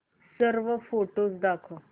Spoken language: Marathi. सर्व फोटोझ दाखव